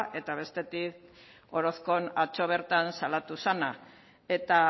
eta bestetik orozkon atzo bertan salatu zena eta